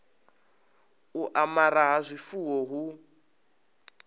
u amara ha zwifuwo hu